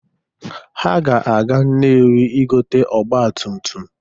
Ha ga-aga Nnewi ịgote ọgbatumtum.